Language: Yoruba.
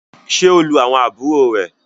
ṣe o lù àwọn àbúrò rẹ!